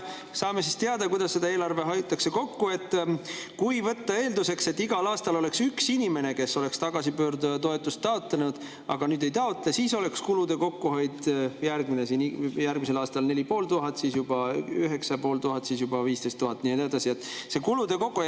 Saime siis teada, kuidas kokku hoitakse: kui võtta eelduseks, et igal aastal oleks üks inimene tagasipöörduja toetust taotlenud, aga nüüd ei taotle, siis oleks kulude kokkuhoid järgmisel aastal 4500, siis juba 9500, siis juba 15 000 ja nii edasi.